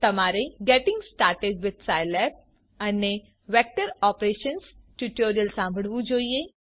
તમારે getting started with Scilab અને vector operations tutorial સાંભળવું જોઈએ